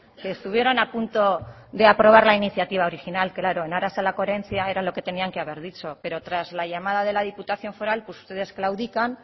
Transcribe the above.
que estuvieron apunto de aprobar la iniciativa original claro en aras a la coherencia era lo que tenían que haber dicho pero tras la llamada de la diputación foral ustedes claudican